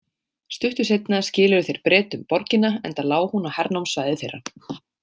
Stuttu seinna skiluðu þeir Bretum borgina, enda lá hún á hernámssvæði þeirra.